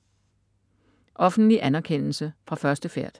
Offentlig anerkendelse fra første færd